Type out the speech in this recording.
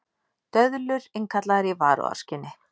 Döðlur innkallaðar í varúðarskyni